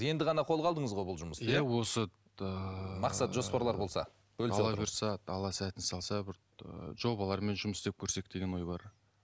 енді ғана қолға алдыңыз ғой бұл жұмысты иә осы ыыы мақсат жоспарлар болса алла бұйырса алла сәтін салса бір ыыы жобалармен жұмыс істеп көрсек деген ой бар